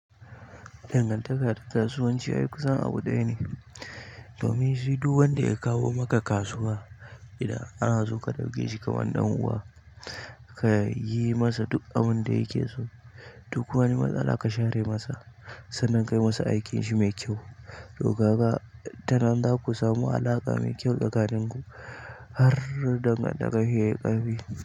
Dangantaka da kasuwanci aikusan abu ɗaya ne. Domin shi duk wanda ya kawo maka kasuwa anaso ka ɗauke shi kamar dan uwa. Duk wani matsala ka share masa. Sannan ka yi masa aikin shi mai kyau. To kaga tanan zaku samu alaƙa mai kyau tsakanin ku har dangantakar ku yayi ƙarfi.